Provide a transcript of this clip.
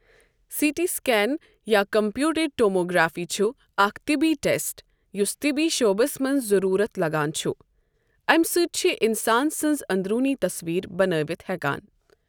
C T scan یا computer tomography چھُ اَکھ طِبی ٹیسٹ یُس طِبی شُعبَس مَنٛز ضروٗرَتھ لَگان چھُ اَمہِ سۭتۍ چھِ اِنسان سٕنٛز اۆنٛدروٗنی تَصویٖر بَنٲیتھ ہیٚکان۔